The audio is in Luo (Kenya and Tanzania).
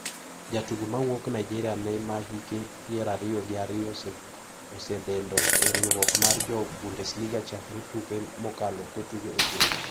Jatugo ma wuok Nigeria no ma hike pier ariyo gi ariyo osededo e riwruok mar jo Bundesliga chakre tuke mokalo kotugo e gowi.